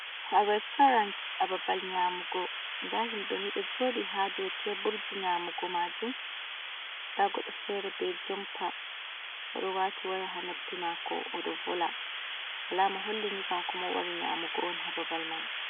Ha restorants ha babal nyamugo. Nda himbeni ɗo jodi ha do teburji nyamugo majum, nda goɗɗo fere be jumpa ɗo wati waya ha noppi mako odo vola alama hollini kan koma wari nyamugo on ha babal man.